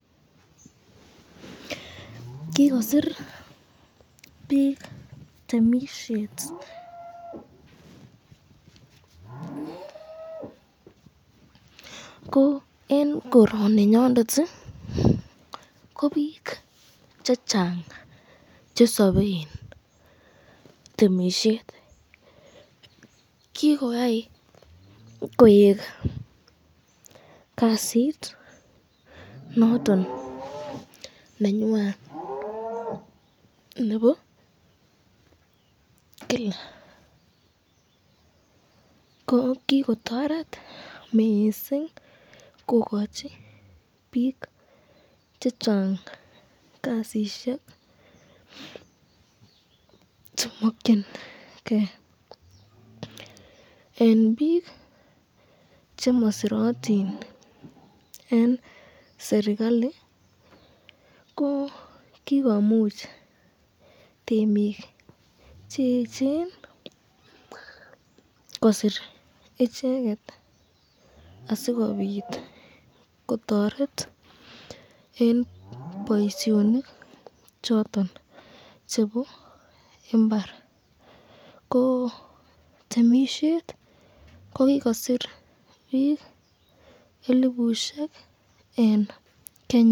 Kikosir bik temisyet, ko eng koroninyondet ko bik chechang chesaben temisyet, kikotai koek kasit noton me nenywan nebo Kila, ko kikotoret mising kokochi bik chechang kasisyek chemakyinike, eng bik chemasirotin eng serikalit ko kikomuch temik cheechen kosir icheket asikobit kotoret eng boisyonik choton chebo imbar, ko temisyet ko kikosir bik elipushek eng Kenya.